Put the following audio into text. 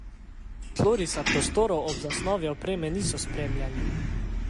Tlorisa prostorov ob zasnovi opreme niso spreminjali.